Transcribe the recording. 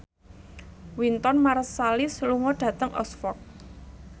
Wynton Marsalis lunga dhateng Oxford